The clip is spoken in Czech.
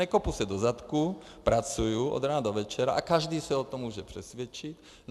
Nekopu se do zadku, pracuji od rána do večera a každý se o tom může přesvědčit.